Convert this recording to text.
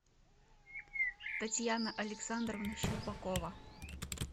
татьяна александровна шербакова